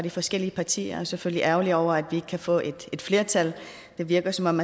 de forskellige partier jeg er selvfølgelig ærgerlig over at vi ikke kan få et et flertal det virker som om